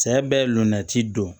Sɛ bɛ lɔnnati don